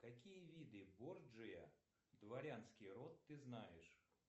какие виды борджиа дворянский род ты знаешь